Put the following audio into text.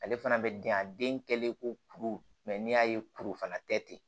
Ale fana bɛ den a den kɛlen ko kuru n'i y'a ye kuru fana tɛ ten